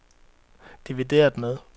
divideret med